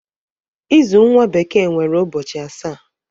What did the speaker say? Izu nwa bekee nwere ụbọchị asaa.